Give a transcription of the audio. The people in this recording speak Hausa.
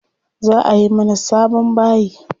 Za ayi mana sabon bayi.